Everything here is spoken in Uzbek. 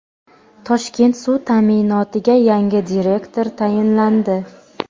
"Toshkent suv ta’minoti"ga yangi direktor tayinlandi.